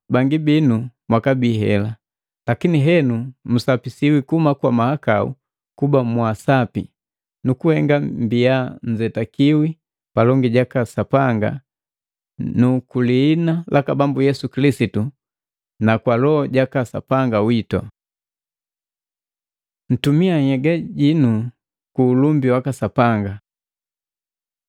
bangi binu mwakabii hela, lakini henu musapisiwi kuhuma kwa mahakau kuba mwa asapi, nukuhenga mbiya nnzetikika palongi jaka Sapanga na kulihina laka Bambu Yesu Kilisitu na kwa Loho jaka Sapanga witu. Ntumia nhyega hinu ku ulumbi waka Sapanga.